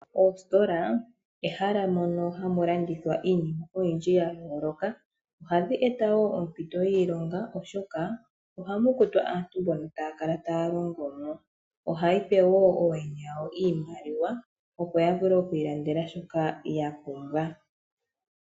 Oostola ehala moka hamu landithwa iinima oyindji yayooloka. Ohadhi eta woo ompito yiilonga oshoka ohamu kutwa aantu mbono taya kala taya longo mo. Ohayi pe woo ooyene yawo iimaliwa opo ya vule okwiilandela shoka yapumbwa.